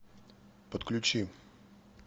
подключи